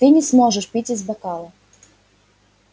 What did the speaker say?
ты не сможешь пить из бокала